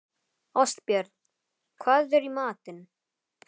Ástbjörn, hvað er í matinn?